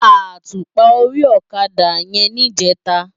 Átúpá óri òkadá yèn nijètá